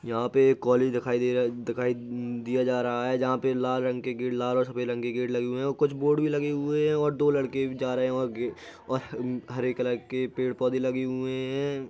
यहाँ पर एक कॉलेज दिखाई दे रहा दिखाई दिया जा रहा है जहाँ पर लाल रंग के गेट लाल और सफ़ेद रंग के गेट लगे हुए हैं और कुछ बोर्ड भी लगे हुए हैं और दो लड़के जा रहे हैं और गे और ह हरे कलर के पेड़ पौधे लगे हुए हैं।